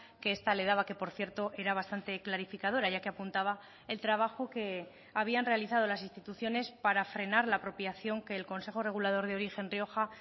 que esta le daba que por cierto era bastante clarificadora ya que apuntaba el trabajo que habían realizado las instituciones para frenar la apropiación que el consejo regulador de origen rioja